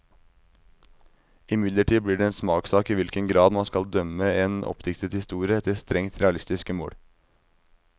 Imidlertid blir det en smakssak i hvilken grad man skal dømme en oppdiktet historie efter strengt realistiske mål.